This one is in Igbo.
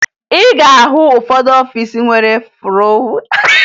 Ị ga-ahụ ụfọdụ ọfiisi nwere ụfụrụ na ya